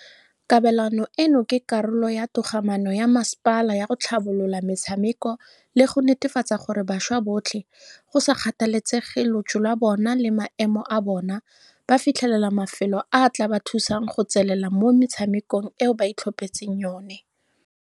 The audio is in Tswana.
Kabelano eno ke karolo ya togamano ya masepala ya go tlhabolola metshameko le go netefatsa gore bašwa botlhe, go sa kgathalesege lotso lwa bone le maemo a bona, ba fitlhelela mafelo a a tla ba thusang go tswelela mo metshamekong eo ba itlhophetseng yone.